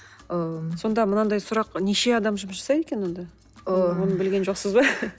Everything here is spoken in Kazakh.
ы сонда мынандай сұрақ неше адам жұмыс жасайды екен онда ы оны білген жоқсыз ба